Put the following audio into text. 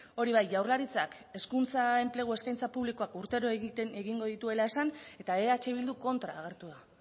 hori bai jaurlaritzak hezkuntza enplegu eskaintze publikoak urtero egingo dituela esan eta eh bilduk kontra agertu da